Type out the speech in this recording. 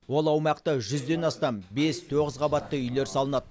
ол аумақта жүзден астам бес тоғыз қабатты үйлер салынады